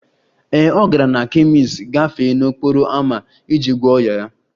Ee, ọ gara na kemist gafee n'okporo ámá iji gwọọ ọnyá ya